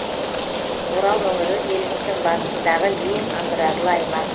орал өңірі еліміздің батысындағы ең аграрлы аймақ